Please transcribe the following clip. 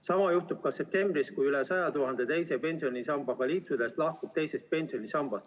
Sama juhtub ka septembris, kui üle 100 000 teise pensionisambaga liitunust lahkub sealt.